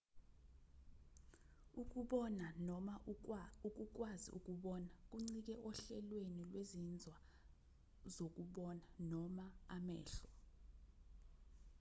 ukubona noma ukukwazi ukubona kuncike ohlelweni lwezinzwa zokubona noma amehlo